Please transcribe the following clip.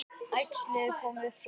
Æxlið kom svo hratt.